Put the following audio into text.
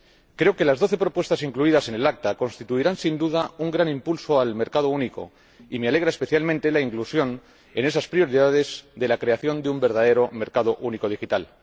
Creo que las doce propuestas incluidas en el Acta constituirán, sin duda, un gran impulso al mercado único y me alegra especialmente la inclusión en esas prioridades de la creación de un verdadero mercado único digital.